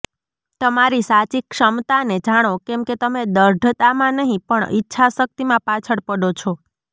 તમારી સાચી ક્ષમતાને જાણો કેમ કે તમે દૃઢતામાં નહીં પણ ઈચ્છાશક્તિમાં પાછળ પડો છો